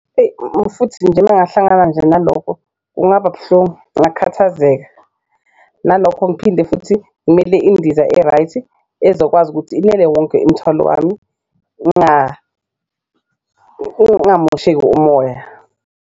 Eyi futhi nje uma ngingahlangana nje nalokho kungaba buhlungu, ngakhathazeka nalokho ngiphinde futhi ngimele indiza e-right, ezokwazi ukuthi inele wonke imithwalo wami ngamosheki umoya.